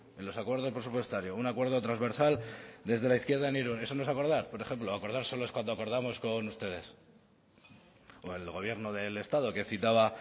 en los acuerdos presupuestarios un acuerdo transversal desde la izquierda en irún eso no es acordar por ejemplo acordar solo es cuando acordamos con ustedes o el gobierno del estado que citaba